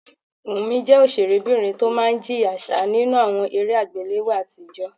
Wùmí jẹ́ ọ̀sẹ̀rébìnrin tó máa ń jìyà ṣáá nínú àwọn eré àgbéléwò àtijọ́